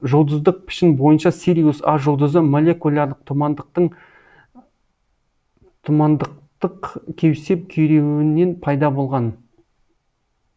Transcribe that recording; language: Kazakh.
жұлдыздық пішін бойынша сириус а жұлдызы молекулярлық тұмандықтық кеусеп күйреуінен пайда болған